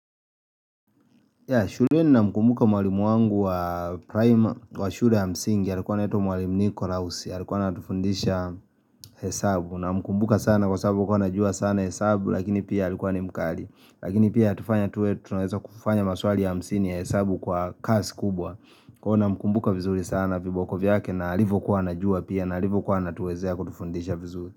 Ya shuleni na mkumbuka mwalimu wangu wa prime wa shule ya msingi alikuwa anaitwa mwalimu nikolasue alikuwa anatufundisha hesabu na mkumbuka sana kwa sababu kuwa anajua sana hesabu Lakini pia alikuwa ni mkali Lakini pia tufanya tuwe tunaeza kufanya maswali ya hamsini ya hesabu kwa kasi kubwa Kwa namkumbuka vizuri sana viboko vyake na alivyo kuwa anajua pia na alivyo kuwa na tuwezea kutufundisha vizuri.